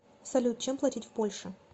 салют чем платить в польше